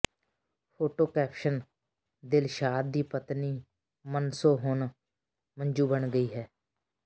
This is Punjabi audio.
ਫੋਟੋ ਕੈਪਸ਼ਨ ਦਿਲਸ਼ਾਦ ਦੀ ਪਤਨੀ ਮਨਸੁ ਹੁਣ ਮੰਜੂ ਬਣ ਗਈ ਹੈ